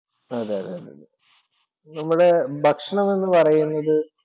അതെതെതെ. നമ്മുടെ ഭക്ഷണമെന്നു പറയുന്നത്